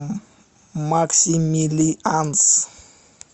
максимилианс